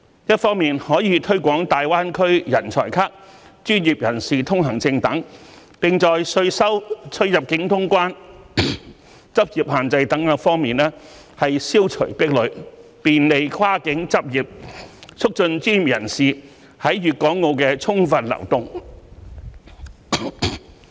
一方面可推廣"大灣區人才卡"、"專業人士通行證"等，並在稅收、出入境通關、執業限制等多方面消除壁壘，便利跨境執業，促進專業人士在粵港澳的充分流動。